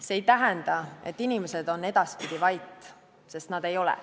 See ei tähenda, et inimesed on edaspidi vait, sest nad ei ole.